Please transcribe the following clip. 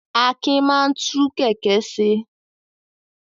Akin máa ń tú kẹ̀kẹ́ ṣe.